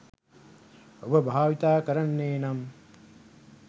ඔබ භාවිතා කරන්නේ නම්